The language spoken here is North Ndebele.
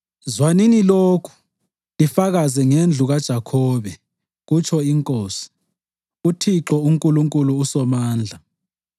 “Zwanini lokhu lifakaze ngendlu kaJakhobe,” kutsho iNkosi, uThixo uNkulunkulu uSomandla.